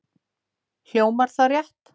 Hljómar það rétt?